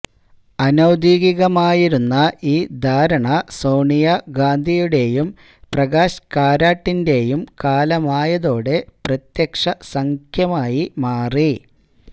അനൌദ്യോഗികമായിരുന്ന ഈ ധാരണ സോണിയാ ഗാന്ധിയുടേയും പ്രകാശ് കാരാട്ടിന്റെയും കാലമായതോടെ പ്രത്യക്ഷസഖ്യമായി മാറി